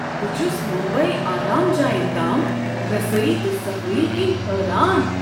بہٕ چھس مُمبیی آرام جاین تام رسٲیی تہٕ صفٲیی كِنۍ حٲران۔